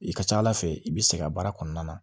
I ka ca ala fɛ i bi sɛgɛn baara kɔnɔna na